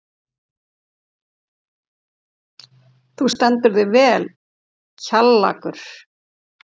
Þú stendur þig vel, Kjallakur!